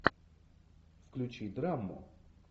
включи драму